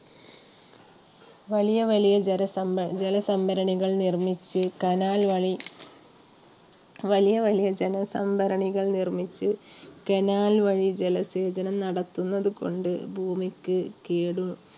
വലിയ വലിയ ജലസംഭര~ജലസംഭരണികൾ നിർമ്മിച്ച് കനാൽ വഴി വലിയ വലിയ ജലസംഭരണികൾ നിർമ്മിച്ച് കനാൽ വഴി ജലസേചനം നടത്തുന്നതുകൊണ്ട് ഭൂമിക്ക് കേട്